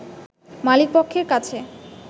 মালিকপক্ষের কাছে